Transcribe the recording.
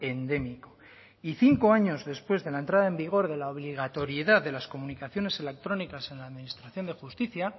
endémico y cinco años después de la entrada en vigor de la obligatoriedad de las comunicaciones electrónicas en la administración de justicia